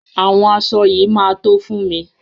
Àwọn aṣọ yìí máa tó fún mi.